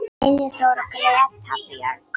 Reynir Þór og Greta Björg.